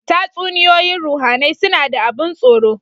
Tatsuniyoyin ruhAnai suna da abun tsoro